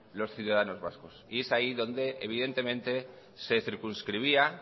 los ciudadanos vascos y es ahí donde evidentemente se circunscribía